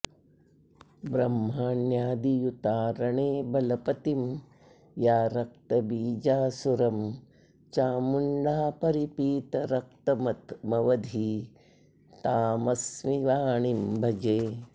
ब्रह्माण्यादियुता रणे बलपतिं या रक्तबीजासुरं चामुण्डा परिपीतरक्तमवधीत्तामस्मि वाणीं भजे